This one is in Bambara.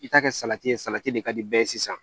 I ka kɛ salati ye salati de ka di bɛɛ ye sisan